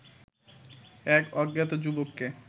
এক অজ্ঞাত যুবককে